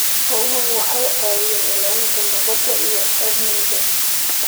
Xooluhu waxay caawiyaan ilaalinta nabadda iyo amniga.